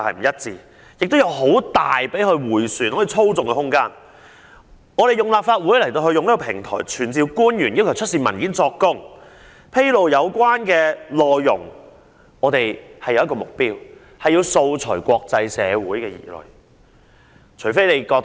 我們利用立法會平台傳召官員作供及要求政府出示文件和披露有關內容，目的是要釋除國際社會的疑慮。